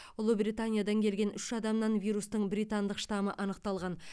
ұлыбританиядан келген үш адамнан вирустың британдық штамы анықталған